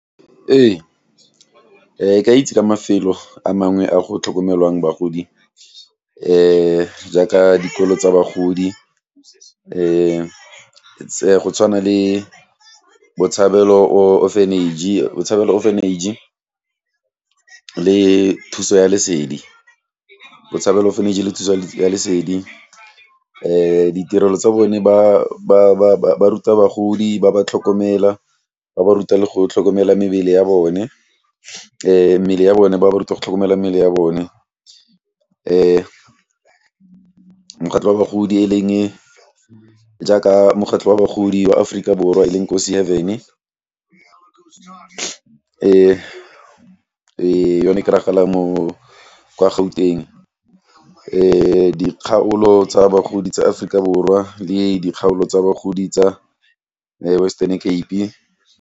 Ee, ke a itse ka mafelo a mangwe a go tlhokomelwang bagodi jaaka dikolo tsa bagodi, tse go tshwana le botshabelo orphanage, botshabelo orphanage le thuso ya lesedi. Botshabelo orphanage le thuso ya lesedi ditirelo tsa bone ba ruta bagodi, ba ba tlhokomela ba ba ruta le go tlhokomela mebele ya bone, mmele ya bone ba ba ruta go tlhokomela mmele ya bone. Mokgatlo wa bagodi e leng jaaka mokgatlo wa bagodi wa Aforika Borwa yone e kry-agala mo, kwa Gauteng. Dikgaolo tsa bagodi tsa Aforika Borwa le dikgaolo tsa bagodi tsa Western Cape.